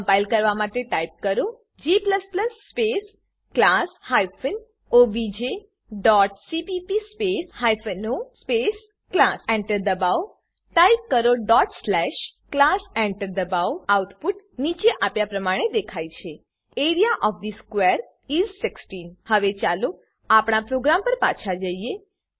compile કરવા માટે type કરો g space class hyphen OBJ dot CPP space hyphen O space class Enter દબાવો type કરો class Enter દબાવો આઉટપુટ નીચે આપ્યા પ્રમાણે દેખાય છે A R E A O F the square is 16 હવે ચાલો આપણા પ્રોગ્રામ પર પાછા જઈએ